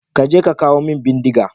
Ka je ka kawo min bindiga!